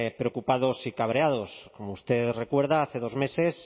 preocupados y cabreados como usted recuerda hace dos meses